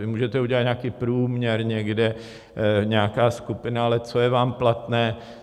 Vy můžete udělat nějaký průměr někde, nějaká skupina, ale co je vám platné.